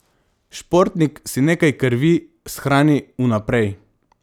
Športnik si nekaj krvi shrani vnaprej.